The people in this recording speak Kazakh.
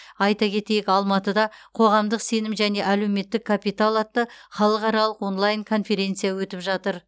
айта кетейік алматыда қоғамдық сенім және әлеуметтік капитал атты халықаралық онлайн конференция өтіп жатыр